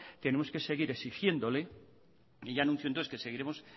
tenemos que seguir exigiéndole y ya anuncio entonces que seguiremos